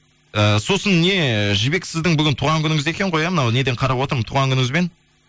ііі сосын не ііі жібек сіздің бүгін туған күніңіз екен ғой иә мынау неден қарап отырмын туған күніңізбен